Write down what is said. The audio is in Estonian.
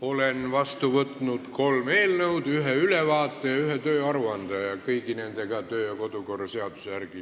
Olen vastu võtnud kolm eelnõu, ühe ülevaate ja ühe tööaruande ning me toimetame nende kõigiga edasi kodu- ja töökorra seaduse järgi.